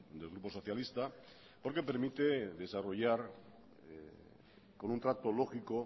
del grupo socialista porque permite desarrollar con un trato lógico